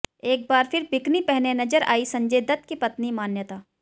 एक बार फिर बिकिनी पहने नजर आई संजय दत्त की पत्नी मान्यता